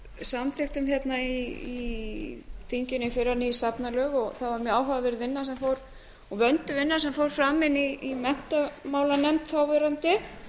samþykktum hérna í þinginu í fyrra ný safnalög það var mjög áhugaverð vinna og vönduð vinna sem fór fram inni í menntamálanefnd þáverandi